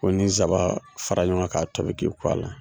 Ko ni ye zaban fara ɲɔgɔn kan k'a tobi k'i ko a la,